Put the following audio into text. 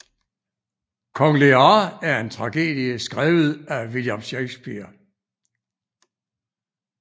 Kong Lear er en tragedie skrevet af William Shakespeare